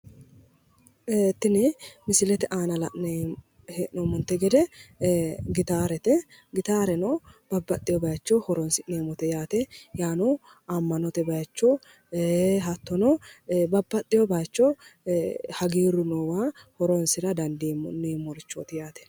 Tini misilete aana la'nayi he'noomonte gede gitaarete, gitaareno babbaxewo bayicho horons'nnemote yaate, yaano ama'note bayicho hatonno babbaxewo bayicho hagiiru noowa horonisira danidiinemmorichooti.